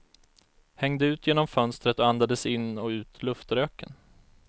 Hängde ut genom fönstret och andades in och ut luftröken.